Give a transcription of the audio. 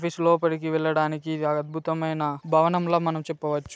Office లోపలి కి వెళ్లడానికి ఇది అద్భుతమైన భవనం లా మనం చెప్పవచ్చు.